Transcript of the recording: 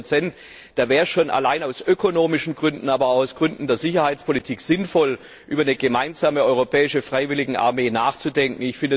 15 Da wäre es schon allein aus ökonomischen Gründen, aber auch aus Gründen der Sicherheitspolitik sinnvoll, über eine gemeinsame europäische Freiwilligenarmee nachzudenken.